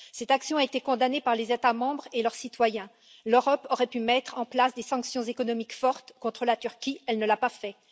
Cette action a été condamnée par les États membres et leurs citoyens. L'Europe aurait pu mettre en place des sanctions économiques fortes contre la Turquie, mais elle ne l'a pas fait.